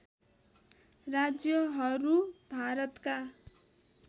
राज्यहरू भारतका